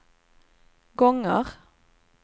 gånger